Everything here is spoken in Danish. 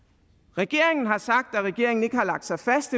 regeringen har sagt at regeringen endnu ikke har lagt sig fast